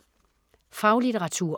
Faglitteratur